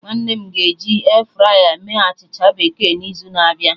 Nwanne m ga eji airfryer mee achịcha bekee n'izu na-abịa